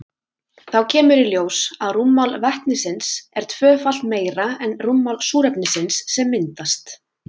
Þá kemur í ljós að rúmmál vetnisins er tvöfalt meira en rúmmál súrefnisins sem myndast.